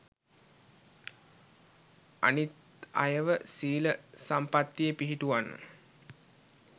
අනිත් අයව සීල සම්පත්තියේ පිහිටුවන්න